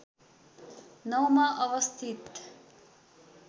९ मा अवस्थित